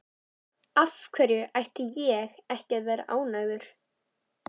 Af hverju ætti ég ekki að vera ánægður?